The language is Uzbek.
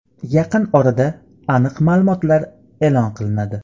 Yaqin orada aniq ma’lumotlar e’lon qilinadi.